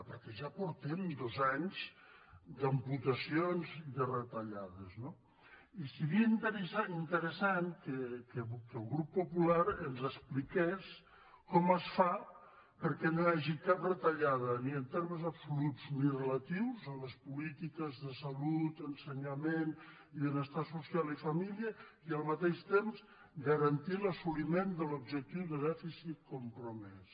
perquè ja portem dos anys d’amputacions i de retallades no i seria interessant que el grup popular ens expliqués com es fa perquè no hi hagi cap retallada ni en termes absoluts ni relatius en les polítiques de salut ensenyament i benestar social i família i al mateix temps garantir l’assoliment de l’objectiu de dèficit compromès